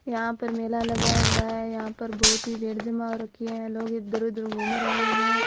यहां पर मेला लगा हुआ है यहाँ पर बहुत ही भीड़ जमा हो रखी हैं लोग इधर उधर घूम रहे है।